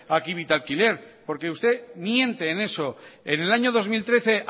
aquí vitalquiler porque usted miente en eso en el año dos mil trece